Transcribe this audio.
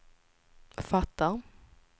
fattar